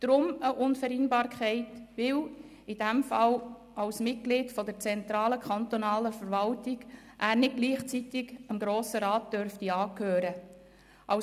Diese deshalb, weil er in diesem Fall als Mitglied der zentralen kantonalen Verwaltung nicht gleichzeitig dem Grossen Rat angehören darf.